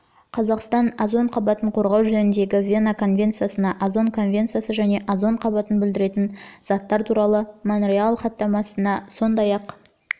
қазақстан озон қабатын қорғау жөніндегі вена конвенциясына озон конвенциясы және озон қабатын бүлдіретін заттар туралы монреаль хаттамасына жылы сондай-ақ